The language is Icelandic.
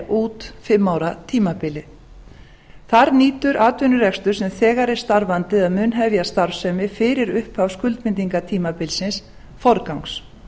út fimm ára tímabilið þar nýtur atvinnurekstur sem þegar er starfandi eða mun hefja starfsemi fyrir upphaf skuldbindingartímabilsins forgangs